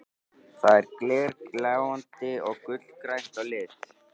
Það er glergljáandi og gulgrænt að lit.